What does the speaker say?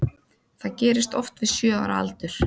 Það gerist oft við sjö ára aldur.